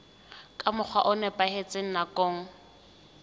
ka mokgwa o nepahetseng nakong